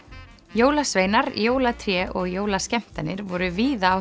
jólasveinar jólatré og jólaskemmtanir voru víða á